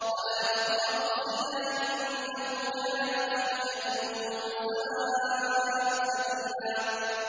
وَلَا تَقْرَبُوا الزِّنَا ۖ إِنَّهُ كَانَ فَاحِشَةً وَسَاءَ سَبِيلًا